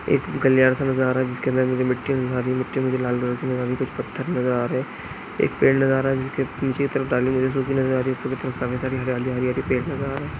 एक कल्याण सा नजर आ रहा है जिसके अंदर मुझे मिट्टी वहां की मिट्टी मुझे लाल रंग की नजर आ रही है कुछ पत्थर नजर आ रहे है एक पेड़ नजर आ रहा है जिसके नीचे के तरफ डाली झुकी हुई नजर आ रही है ऊपर के तरफ काफी सारी हरियाली हरियाली पेड़ नजर आ रहा है।